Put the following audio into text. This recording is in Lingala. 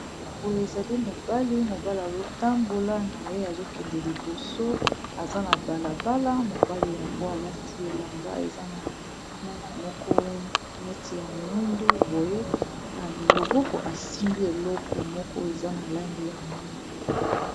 boye ezali mobali mobali azotambola na ye azokende liboso aza na balabala mobali yango alati elamba eza na langi moko neti ya mwindu boye na loboko asimbi eloko moko eza na langi ya mwindu